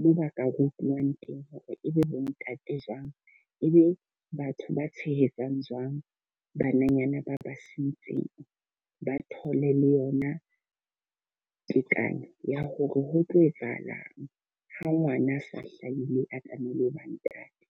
moo ba ka rutuwang teng hore ebe bo ntate jwang. E be batho ba tshehetsang jwang bananyana ba ba sentseng. Ba thole le yona tekanyo ya hore ho tlo etsahalang ha ngwana a sa hlaile a tlamehile ho ba ntate.